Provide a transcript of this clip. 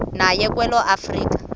naye kwelo afika